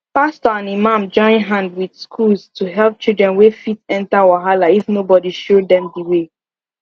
pastor and imam join hand with schools to help children wey fit enter wahala if nobody show dem de way